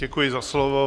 Děkuji za slovo.